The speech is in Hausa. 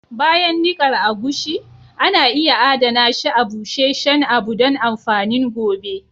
Bayan nikar agushi, ana iya Adana shi a busheshen abu don amfanin gobe.